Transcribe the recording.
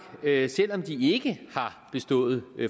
skal selv om de ikke har bestået